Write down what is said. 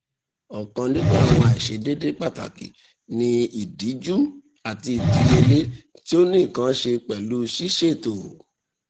ọkan ninu awọn aiṣedeede pataki ni idiju ati idiyele ti o ni nkan ṣe pẹlu siseto